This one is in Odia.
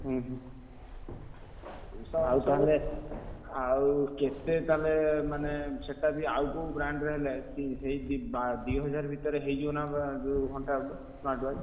ହୁଁ ହୁଁ ଆଉ ତାହେଲେ ଆଉ କେ ତେ ତାହେଲେ ମାନେ ସେଟା ବି ଆଉ କୋଉ brand ର ହେଲେ ଶି ସେଇ ଦି ବା ଦିହଜାର ଭିତରେ ହେଇଯିବନା ଯୋଉ ଘଣ୍ଟା ଗୋଟେ smartwatch ।